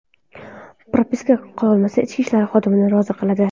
Propiska qilolmasa, ichki ishlar xodimini rozi qiladi.